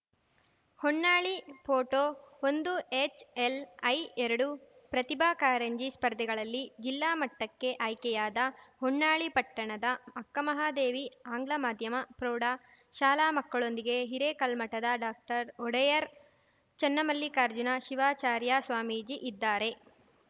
Honnali photo ಒಂದು ಹೆಚ್‌ಎಲ್‌ಐಎರಡು ಪ್ರತಿಭಾ ಕಾರಂಜಿ ಸ್ಪರ್ಧೆಗಳಲ್ಲಿ ಜಿಲ್ಲಾ ಮಟ್ಟಕ್ಕೆ ಅಯ್ಕೆಯಾದ ಹೊನ್ನಾಳಿ ಪಟ್ಟಣದ ಅಕ್ಕಮಹಾದೇವಿ ಅಂಗ್ಲ ಮಾದ್ಯಮ ಪ್ರೌಢ ಶಾಲಾ ಮಕ್ಕಳೊಂದಿಗೆ ಹಿರೇಕಲ್ಮಠದ ಡಾಕ್ಟರ್ ಒಡೆಯರ್‌ ಚನ್ನಮಲ್ಲಿಕಾರ್ಜುನ ಶಿವಾಚಾರ್ಯ ಸ್ವಾಮೀಜಿ ಇದ್ದಾರೆ